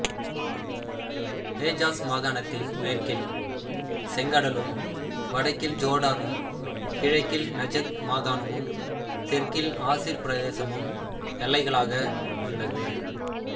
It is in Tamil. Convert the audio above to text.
ஹெஜாஸ் மாகாணத்தின் மேற்கில் செங்கடலும் வடக்கில் ஜோர்டானும் கிழக்கில் நஜத் மாகாணமும் தெற்கில் அசீர் பிரதேசமும் எல்லைகளாக உள்ளது